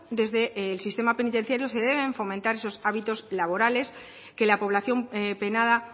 desde el sistema penitenciario se deben fomentar esos hábitos laborales que la población penada